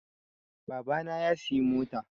Baba na ya siyi mota